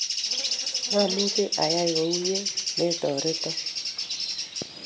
maamuchi ayai kouni ye metorito.